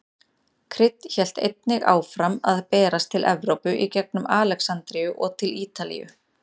Krydd hélt einnig áfram að berast til Evrópu í gengum Alexandríu og til Ítalíu.